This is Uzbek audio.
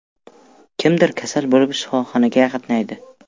Kimdir kasal bo‘lib shifoxonaga qatnaydi.